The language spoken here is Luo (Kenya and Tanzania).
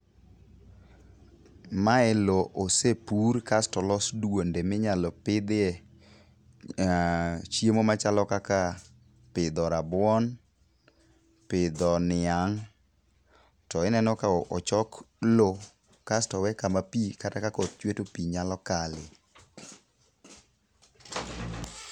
Mae lo osepur kasto olos duonde minyalo pidhie chiemo machalo kaka pidho rabuon, pidho niang' to ineno ka ochok lo kasto owe kama pi kata ka koth chwe to pi nyalo kale.